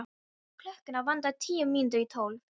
Klukkuna vantaði tíu mínútur í tólf.